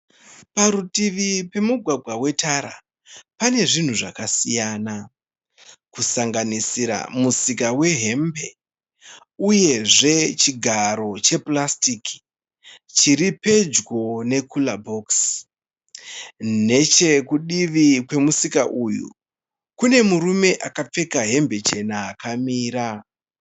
Parutivi pemugwagwa wetara pane zvinhu zvakasiyana kusanganisira musika wehembe uyezve chigaro chepurasitiki chiri pedyo nekura bhokisi. Nechekudivi kwemusika uyu kune murume akapfeka hembe chena akamira.